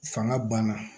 Fanga banna